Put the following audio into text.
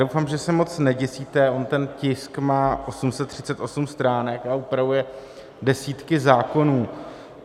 Doufám, že se moc neděsíte - on ten tisk má 838 stránek a upravuje desítky zákonů.